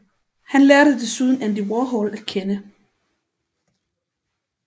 Han lærte desuden Andy Warhol at kende